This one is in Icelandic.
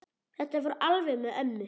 Þetta fór alveg með ömmu.